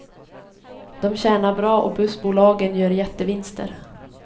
De tjänar bra och bussbolagen gör jättevinster.